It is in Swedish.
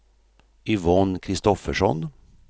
Yvonne Kristoffersson